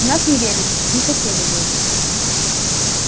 в нас не верили не хотели верить